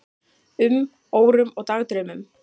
um, órum og dagdraumum.